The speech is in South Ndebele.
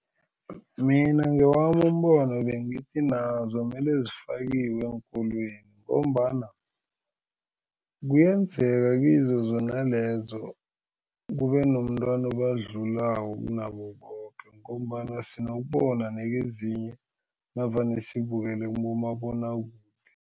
Mina ngewami umbono bengithi nazo mele zifakiwe eenkolweni ngombana kuyenzeka kizo zona lezo kube nomntwana obadlulako kunabo boke ngombana sinokubona nakezinye navane sibukele kubomabonwakude.